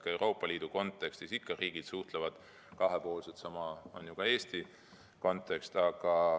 Ka Euroopa Liidu kontekstis suhtlevad riigid kahepoolselt, sama on ju ka Eesti puhul.